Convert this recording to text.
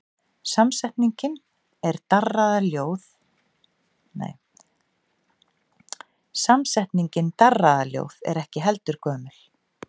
Samsetningin darraðarljóð er ekki heldur gömul.